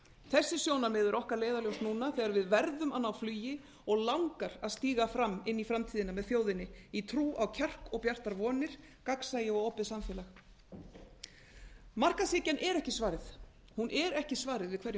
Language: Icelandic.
þessi sjónarmið eru okkar leiðarljós núna þegar við verðum að ná flugi og langar að stíga fram inn í framtíðina með þjóðinni í trú á kjark og bjartar vonir gagnsæi og opið samfélag markaðshyggjan er ekki svarið hún er ekki svarið við hverjum